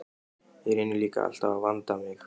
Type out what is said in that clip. Ég reyni líka alltaf að vanda mig.